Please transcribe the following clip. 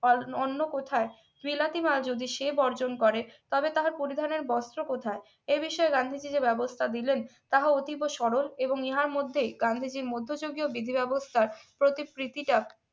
কারণ অন্য কোথায় বিলাতি মাল যদি সে বর্জন করে তবে তাহার পরিধানের বস্ত্র কোথা এ বিষয়ে গান্ধীজী যে ব্যবস্থা দিলেন তাহা অতীব সরল এবং ইহার মধ্যে গান্ধীজীর মধ্য যুগে ও বিধি ব্যবস্থার প্রতি প্রীতি ডাক